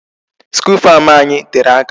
School farm anyị tere aka.